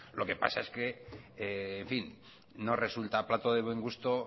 lo que pasa es que en fin no resulta plato de buen gusto